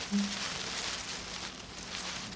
нет не подавился